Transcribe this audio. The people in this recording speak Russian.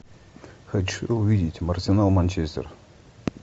хочу увидеть арсенал манчестер